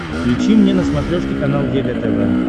включи мне на смотрешке канал егэ тв